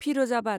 Firozabad